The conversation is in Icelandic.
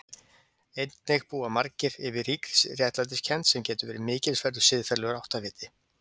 Einnig búa margir yfir ríkri réttlætiskennd sem getur verið mikilsverður siðferðilegur áttaviti.